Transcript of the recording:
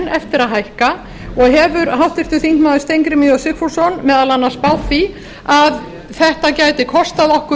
eftir að hækka og hefur háttvirtur þingmaður steingrímur j sigfússon meðal annars spáð því að þetta gæti koma okkur